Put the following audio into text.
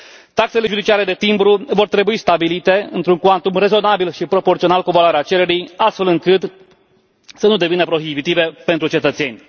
Taxele judiciare de timbru vor trebui stabilite într un cuantum rezonabil și proporțional cu valoarea cererii, astfel încât să nu devină prohibitive pentru cetățeni.